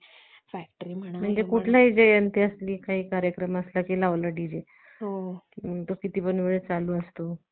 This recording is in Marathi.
मुलामुलींची काही छेड काढली जाते, काही म~ अह अतिप्रसंग करतात. म्हणजे हे टाळलं पाहिजे. त्याचा आनंद लुटला पाहिजे.